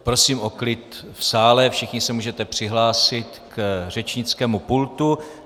Prosím o klid v sále, všichni se můžete přihlásit k řečnickému pultu.